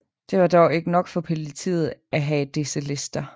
Det var dog ikke nok for politiet af have disse lister